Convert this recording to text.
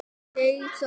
Jason